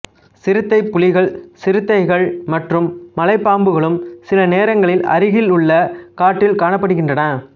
சிறுத்தை புலிகள் சிறுத்தைகள் மற்றும் மலைப்பாம்புகளும் சில நேரங்களில் அருகிலுள்ள காட்டில் காணப்படுகின்றன